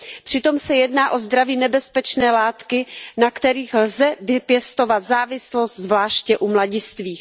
Přitom se jedná o zdraví nebezpečné látky, na kterých lze vypěstovat závislost, zvláště u mladistvých.